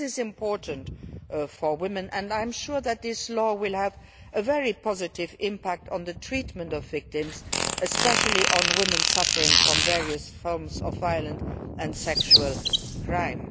This is important for women, and I am sure that this law will have a very positive impact on the treatment of victims, especially on women suffering from various forms of violence and sexual crime.